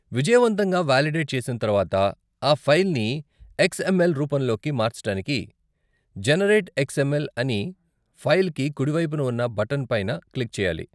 విజయవంతంగా వాలిడేట్ చేసిన తర్వాత, ఆ ఫైల్ని ఎక్స్ఎమ్ఎల్ రూపంలోకి మార్చటానికి 'జెనెరేట్ ఎక్స్ఎమ్ఎల్' అని ఫైల్కి కుడివైపున ఉన్న బటన్ పైన క్లిక్ చేయాలి.